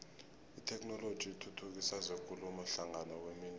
itheknoloji ithuthukisa zekulumo hlangana kwemindeni